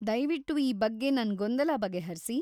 ದಯ್ವಿಟ್ಟು ಈ ಬಗ್ಗೆ ನನ್ ಗೊಂದಲ ಬಗೆಹರ್ಸಿ.